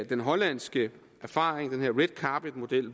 den hollandske erfaring med red carpet model